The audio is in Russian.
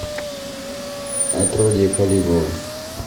отродье калигулы